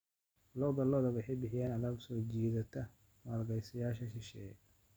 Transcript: Lo'da lo'da waxay bixiyaan alaab soo jiidata maalgashadayaasha shisheeye.